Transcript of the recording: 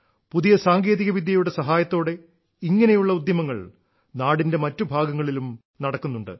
പുതിയ സാങ്കേതികവിദ്യയുടെ സഹായത്തോടെ ഇങ്ങനെയുള്ള ഉദ്യമങ്ങൾ നാടിന്റെ മറ്റു ഭാഗങ്ങളിലും നടക്കുന്നുണ്ട്